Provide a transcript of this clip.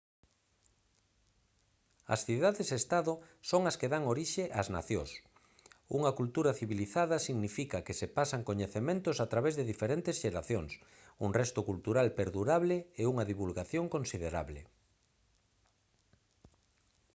as cidades estado son as que dan orixe as nacións unha cultura civilizada significa que se pasan coñecementos a través de diferentes xeracións un resto cultural perdurable e unha divulgación considerable